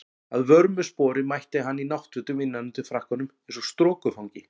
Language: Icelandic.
Að vörmu spori mætti hann í náttfötum innan undir frakkanum eins og strokufangi.